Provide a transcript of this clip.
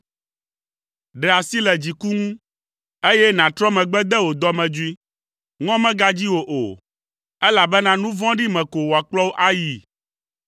Ɖe asi le dziku ŋu, eye nàtrɔ megbe de wò dɔmedzoe, ŋɔ megadzi wò o, elabena nu vɔ̃ɖi me ko wòakplɔ wò ayii.